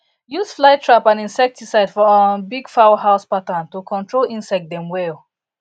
use fly trap and inseticide for um big fowl house pattern to control insects dem well